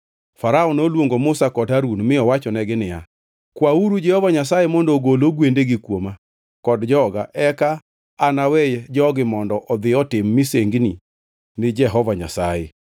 Farao noluongo Musa kod Harun mi owachonegi niya, “Kwauru Jehova Nyasaye mondo ogol ogwendegi kuoma kod joga, eka anawe jogi mondo odhi otim misengini ni Jehova Nyasaye.”